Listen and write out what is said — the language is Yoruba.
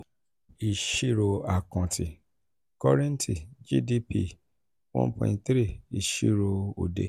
ìṣírò akanti um korenti/ gdp: one point three ìṣírò òde